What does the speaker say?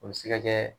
O bɛ se ka kɛ